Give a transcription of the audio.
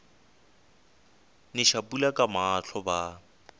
neša pula ka mahlo ba